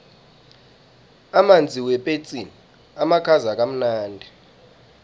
amanzi wepetsini amakhaza kamnandi